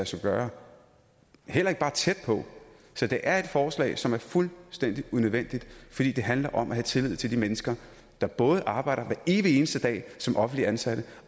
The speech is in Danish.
sig gøre heller ikke bare tæt på så det er et forslag som er fuldstændig unødvendigt fordi det handler om at have tillid til de mennesker der arbejder hver evig eneste dag som offentligt ansatte